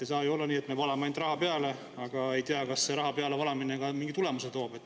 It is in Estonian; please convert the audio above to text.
Ei saa ju olla nii, et me valame ainult raha peale, aga ei tea, kas see raha pealevalamine ka mingi tulemuse toob.